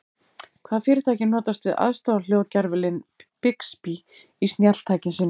Hvaða fyrirtæki notast við aðstoðarhljóðgervilinn Bixby í snjalltækjum sínum?